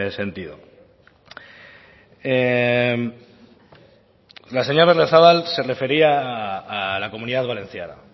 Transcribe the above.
sentido la señora berriozabal se refería a la comunidad valenciana